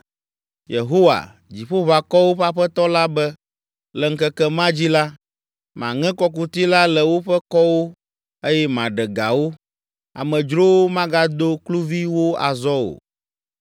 Yehowa, Dziƒoʋakɔwo ƒe Aƒetɔ la be, “Le ŋkeke ma dzi la, maŋe kɔkuti la le woƒe kɔwo eye maɖe ga wo, amedzrowo magado kluvi wo azɔ o.